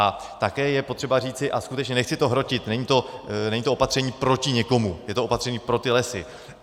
A také je potřeba říci, a skutečně to nechci hrotit, není to opatření proti někomu, je to opatření pro ty lesy.